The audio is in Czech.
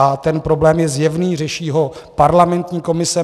A ten problém je zjevný, řeší ho parlamentní komise.